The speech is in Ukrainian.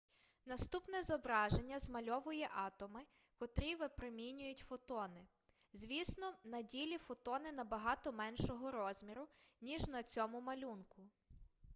наступне зображення змальовує атоми котрі випромінюють фотони звісно на ділі фотони набагато меншого розміру ніж на цьому малюнку